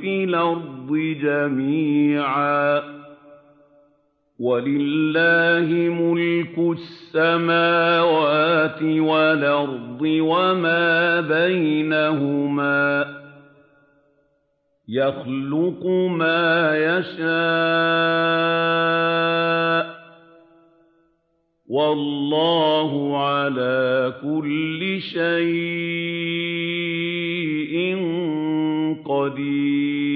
فِي الْأَرْضِ جَمِيعًا ۗ وَلِلَّهِ مُلْكُ السَّمَاوَاتِ وَالْأَرْضِ وَمَا بَيْنَهُمَا ۚ يَخْلُقُ مَا يَشَاءُ ۚ وَاللَّهُ عَلَىٰ كُلِّ شَيْءٍ قَدِيرٌ